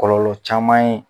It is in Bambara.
Kɔlɔlɔ caman ye.